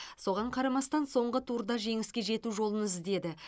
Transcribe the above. соған қарамастан соңғы турда жеңіске жету жолын іздеді